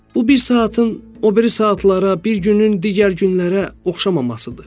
Bu bir saatın o biri saatlara, bir günün digər günlərə oxşamamasıdır.